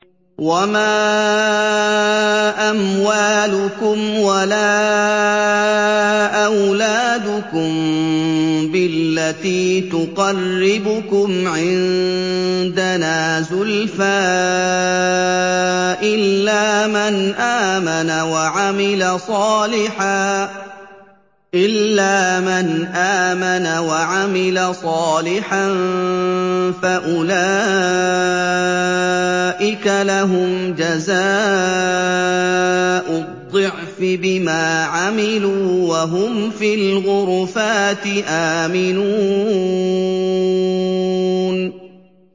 وَمَا أَمْوَالُكُمْ وَلَا أَوْلَادُكُم بِالَّتِي تُقَرِّبُكُمْ عِندَنَا زُلْفَىٰ إِلَّا مَنْ آمَنَ وَعَمِلَ صَالِحًا فَأُولَٰئِكَ لَهُمْ جَزَاءُ الضِّعْفِ بِمَا عَمِلُوا وَهُمْ فِي الْغُرُفَاتِ آمِنُونَ